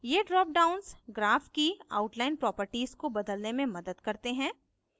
ये drop downs graph की outline properties को बदलने में मदद करते हैं